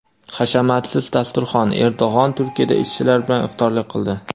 Hashamatsiz dasturxon: Erdo‘g‘an Turkiyada ishchilar bilan iftorlik qildi.